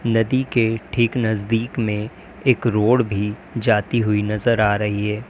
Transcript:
नदी के ठीक नजदीक में एक रोड भी जाती हुई नजर आ रही है।